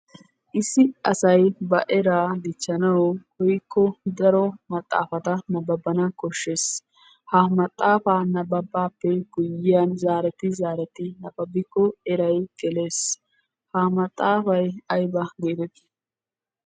Issi asay ba eraa dichchanawu woykko daro maxaafata nabbabana koshshees. Ha maxaafaa nabbabbaappe guyiyan zaareti zaareti nabbabbikko eray gelees ha maxaafay ayba geetetti?